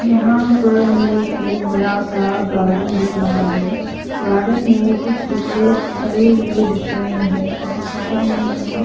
यहां पर हमें एक बड़ा सा गार्डन दिख रहा है गार्डन में कुछ बच्चे खड़े हुए दिख रहे हैं और साइड में हमें --